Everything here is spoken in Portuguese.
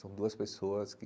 São duas pessoas que...